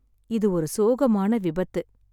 இது ஒரு சோகமான விபத்து.